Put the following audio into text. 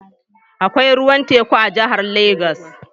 Akwai ruwan teku a jihar Legas.